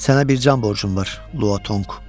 Sənə bir can borcum var, Lúo Tōng.